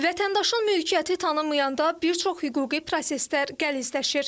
Vətəndaşın mülkiyyəti tanınmayanda bir çox hüquqi proseslər qəlizləşir.